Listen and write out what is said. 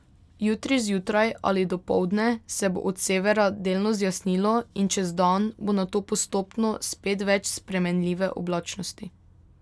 Jutri zjutraj ali dopoldne se bo od severa delno zjasnilo in čez dan bo nato postopno spet več spremenljive oblačnosti.